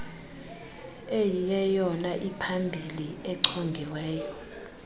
eyiyeyona iphambili echongiweyo